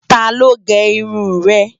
Táló gè irún rè?